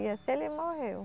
E assim ele morreu.